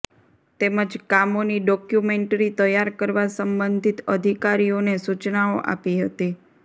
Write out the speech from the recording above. તેમજ કામોની ડોકયુમેન્ટ્રી તૈયાર કરવા સબંધિત અધિકારીઓને સુચનાઓ આપી હતી